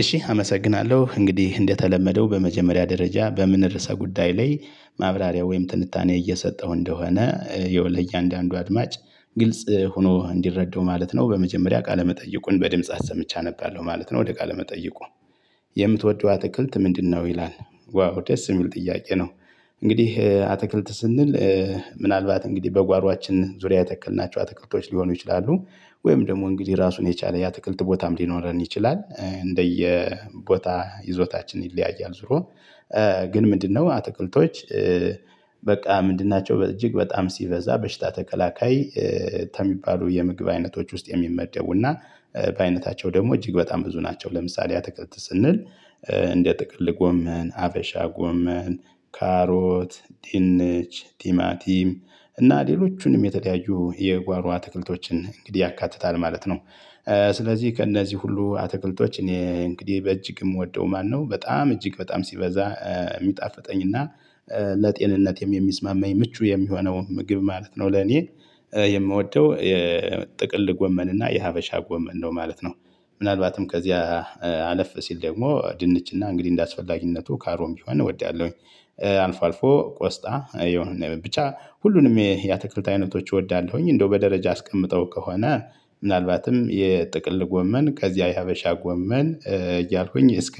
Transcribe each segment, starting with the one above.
እሺ አመሰግናለሁ እንግዲህ እንደተለመደው በመጀመሪያ ደረጃ በምን ርዕሰ ጉዳይ ላይ ማብራሪያ ወይም ትንታኔ እየሰጠው እንደሆነ ያው አንዳንዱ አድማጭ ግልጽ ሆኖ እንዲረዱ ማለት ነው። በመጀመሪያ ቃለመጠየቁን በድምጽ አሰምቼ አነባለው ማለት ነው። ወደ ቃለ መጠይቁ የምትወደው አትክልት ምንድነው? ይላል ዋው ደስ የሚል ጥያቄ ነው። እንግዲህ አትክልት ስንል ምናልባት እንግዲህ በጓሮአችን ዙሪያ የተክልናቸው አትክልቶች ሊሆኑ ይችላሉ። ወይም ደግሞ እንግዲህ ራሱን የቻለ ያ አትክልት ቦታም ሊኖረን ይችላል እንደየ ቦታ ይዞታችን ይለያያል። ዙሮ ግን ምንድነው አትክልቶች? በቃ ምንድን ናቸው እጅግ በጣም ሲበዛ በሽታ ተከላካይ። ከሚባሉ የምግብ አይነቶች ውስጥ የሚመደቡና በአይነታቸው ደግሞ እጅግ በጣም ብዙ ናቸው። ለምሳሌ አትክልት ስንል? እንደ ጥቅል ጎመን ሀበሻ ጎመን ካሮት ድንች ቲማቲም እና ሌሎችንም የተለያዩ የጓሮ አትክልቶችን እንግዲህ ያካትታል ማለት ነው። ስለዚህ ከእነዚህ ሁሉ አትክልቶች እኔ እንግዲህ በእጅግም ምወዶው ማነው? በጣም እጅግ በጣም ሲበዛ የሚጣፍጠኝ እና ለጤንነትም የሚስማማኝ ምቹ የሚሆነው ምግብ ማለት ነው። ለኔ የምወደው የጥቅል ጎመን እና የሀበሻ ጎመን ነው ማለት ነው። ምናልባትም ከዚያ አለፍ ሲል ደግሞ ድንችና እንግዲህ እንደ አስፈላጊነቱ ካሮትም ቢሆን እወዳለሁኝ። አልፎ አልፎ ቆስጣ የሆነ ብቻ ሁሉንም የአትክልት አይነቶች እወዳለሁኝ። እንደው በደረጃ አስቀምጠው ከሆነ ምናልባትም የጥቅል ጎመን ከዚያ የሀበሻ ጎመን እያልኩኝ እስከ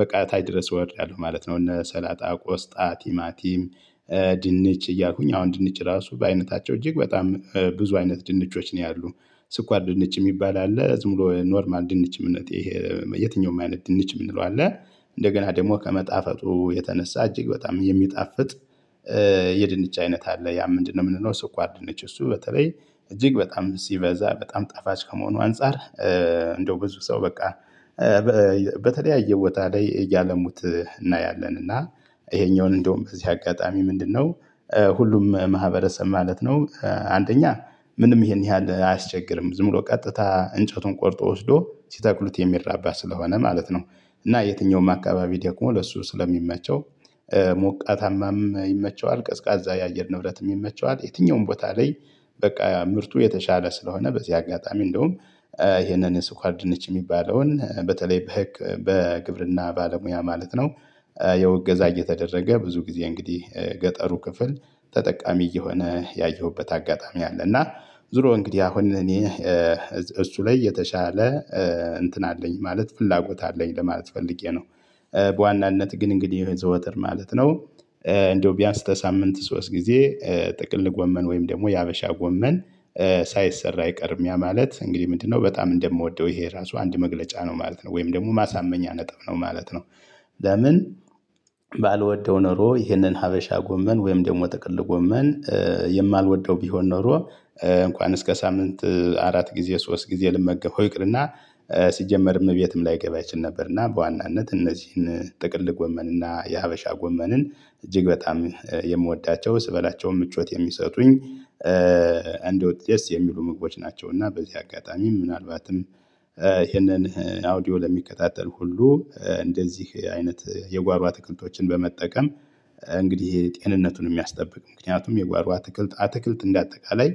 በቃ ታይ ድረስ እወድላለሁ ማለት ነው። እነ ሰላጣ ቆስጣ ቲማቲም ድንች እያልኩኝ አሁን ድንች ራሱ በአይነታቸው እጅግ በጣም ብዙ አይነት ድንቾች ነው ያሉት። ስኳር ድንች የሚባል አለ ዝም ብሎ ኖርማል ድንች እምነቴ የትኛውም አይነት ድንች የምንለው አለ። እንደገና ደግሞ ከመጣፈጡ የተነሳ እጅግ በጣም የሚጣፍጥ። የድንች አይነት አለ ያ ምንድነው? የምንለው ስኳር ድንች እሱ በተለይ እጅግ በጣም ሲበዛ በጣም ጣፋጭ ከመሆኑ አንፃር። እንደው ብዙ ሰው በቃ በተለያየ ቦታ ላይ እያለሙት እናያለን እና ይሄኛውን እንደውም በዚህ አጋጣሚ ምንድነው? ሁሉም ማህበረሰብ ማለት ነው አንደኛ ምንም ይሄን ያህል አያስቸግርም ዝም ብሎ ቀጥታ እንጨቱን ቆርጦ ወስዶ ሲተኩሉት የሚራባ ስለሆነ ማለት ነው። እና የትኛውም አካባቢ ደግሞ ለሱ ስለሚመቸው። ሞቃታማም ይመቸዋል ቀዝቃዛ የአየር ንብረትም ይመቸዋል የትኛውም ቦታ ላይ። በቃ ምርቱ የተሻለ ስለሆነ በዚህ አጋጣሚ እንደውም ይሄንን ስኳር ድንች የሚባለውን በተለይ በህግ በግብርና ባለሙያ ማለት ነው። ያዉእገዛ እየተደረገ ብዙ ጊዜ እንግዲህ ገጠሩ ክፍፈል ተጠቃሚ እየሆነ ያየሁበት አጋጣሚ አለ። እና ዙሮ እንግዲህ አሁን እኔ እሱ ላይ የተሻለ እንትን አለኝ ማለት ፍላጎት አለኝ ለማለት ፈልጌ ነው። በዋናነት ግን እንግዲህ የዘወትር ማለት ነው። እንደው ቢያንስ ከሳምንት ሶስት ጊዜ ጥቅል ጎመን ወይም ደግሞ የሀበሻ ጎመን። ሳይሰራ አይቀርም ያ ማለት እንግዲህ ምንድነው በጣም እንደምወደው ይሄ ራሱ አንድ መግለጫ ነው ማለት ነው። ወይም ደግሞ ማሳመኛ ነጥብ ነው ማለት ነው። ለምን? ባልወደው ኖሮ ይህንን ሀበሻ ጎመን ወይም ደግሞ ጥቅል ጎመን የማልወደው ቢሆን ኖሮ። እንኳን እስከ ሳምንት አራት ጊዜ ሶስት ጊዜ ልመገበው ይቅርና ሲጀመርም እቤትም ላይገባ ይችል ነበር። እና በዋናነት እነዚህን ጥቅል ጎመንና የሀበሻ ጎመንን እጅግ በጣም የምወዳቸው ስበላቸውም ምቾት የሚሰጡኝ እንደውጥ ደስ የሚሉ ምግቦች ናቸው። እና በዚህ አጋጣሚ ምናልባትም ይህንን አውዲዮ ለሚከታተል ሁሉ እንደዚህ አይነት የጓሯ አትክልቶችን በመጠቀም። እንግዲህ ይሄ ጤንነቱን የሚያስጠብቅ ምክንያቱም የጓሮ አትክልት አትክልት እንደ አጠቃላይ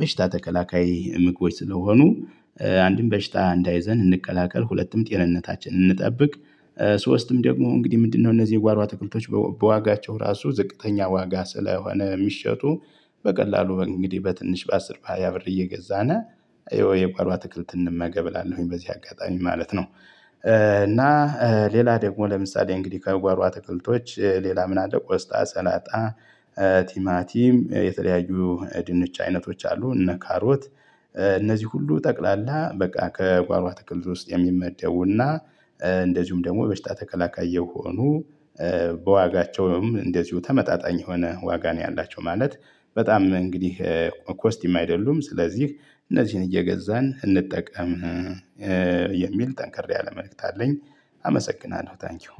በሽታ ተከላካይ ምግቦች ስለሆኑ። አንድም በሽታ እንዳይዘን እንከላከል ሁለቱም ጤንነታችንን እንጠብቅ። ሶስትም ደግሞ እንግዲህ ምንድነው እነዚህ የጓሮ አትክልቶች። በዋጋቸው ራሱ ዝቅተኛ ዋጋ ስለሆነ የሚሸጡ። በቀላሉ እንግዲህ በትንሽ በአስር በሃያ ብር እየገዛን ይኸው የጓሮ አትክልት እንመገብ እላለሁኝ በዚህ አጋጣሚ ማለት ነው። እና ሌላ ደግሞ ለምሳሌ እንግዲህ ከጓሮ አትክልቶች ሌላ ምን አለ ቆስጣ ሰላጣ። ቲማቲም የተለያዩ ድንች አይነቶች አሉ እነ ካሮት። እነዚህ ሁሉ ጠቅላላ በቃ ከጓሮ አትክልት ውስጥ የሚመደውና። እንደዚሁም ደግሞ የበሽታ ተከላካይ የሆኑ በዋጋቸውም እንደዚሁ ተመጣጣኝ የሆነ ዋጋ ነው ያላቸው ማለት። በጣም እንግዲህ ኮስቲም አይደሉም። ስለዚህ እነዚህን እየገዛን እንጠቀም። የሚል ጠንክር ያለ መልእክት አለኝ። አመሰግናለሁ ታንኪው